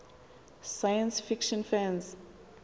science fiction fans